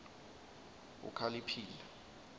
ukhaliphile